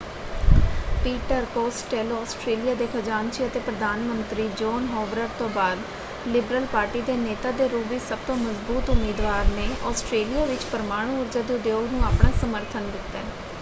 Peter Costello Australia ਦੇ ਖਜਾਨਚੀ ਅਤੇ ਪ੍ਰਧਾਨ ਮੰਤਰੀ ਜੋਨ ਹੋਵਰਡ ਤੋਂ ਬਾਅਦ ਲਿਬਰਲ ਪਾਰਟੀ ਦੇ ਨੇਤਾ ਦੇ ਰੂਪ ਵਿੱਚ ਸਭ ਤੋਂ ਮਜਬੂਤ ਉਮੀਦਵਾਰ ਨੇ ਆਸਟ੍ਰੇਲੀਆ ਵਿੱਚ ਪਰਮਾਣੂ ਊਰਜਾ ਦੇ ਉਦਯੋਗ ਨੂੰ ਆਪਣਾ ਸਮਰਥਨ ਦਿੱਤਾ ਹੈ।